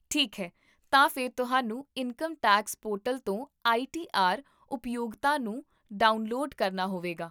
ਠੀਕ ਹੈ, ਤਾਂ ਫਿਰ ਤੁਹਾਨੂੰ ਇਨਕਮ ਟੈਕਸ ਪੋਰਟਲ ਤੋਂ ਆਈ ਟੀ ਆਰ ਉਪਯੋਗਤਾ ਨੂੰ ਡਾਊਨਲੋਡ ਕਰਨਾ ਹੋਵੇਗਾ